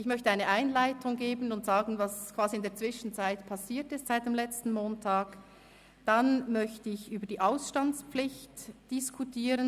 Ich möchte eine Einleitung machen und sagen, was quasi in der Zwischenzeit seit dem letzten Montag passiert ist.